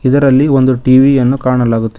ಇದರಲ್ಲಿ ಒಂದು ಟಿ_ವಿ ಯನ್ನು ಕಾಣಲಾಗುತ್ತಿದೆ.